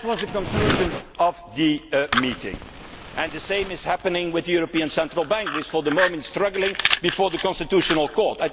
of the year. That was the conclusion of the meeting and the same is happening with the European Central Bank, which for the moment is struggling before the Constitutional